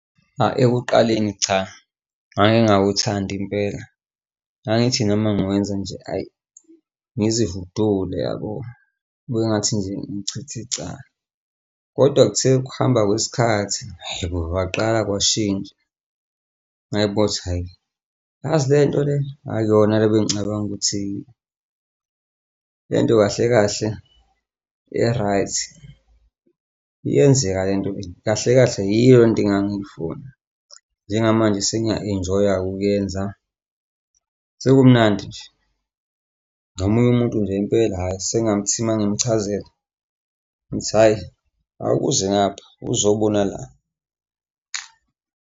Ayi, ekuqaleni cha, ngangingawuthandi impela, ngangithi noma ngiwenza nje, hhayi, ngizihudule yabo, kube engathi nje ngichitha icala kodwa kuthe ukuhamba kwesikhathi, hhayi bo, kwaqala kwashintsha ngayibona ukuthi, hhayi, yazi le nto le akuyona le bengicabanga ukuthi. Le nto kahle kahle i-right, iyenzeka lento kahle kahle yiyo lento engangiyifuna. Njengamanje sengiya-enjoy-a-ke ukuyenza, sekumnandi nje. Nomunye umuntu nje impela hawu sengathi uma ngimchazela ngithi hhayi awukuze ngapha, uzobona la.